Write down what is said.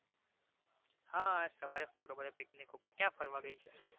હા આજ સવારે photo જોયો picnic ઉપર ક્યાં ફરવા ગઈ છે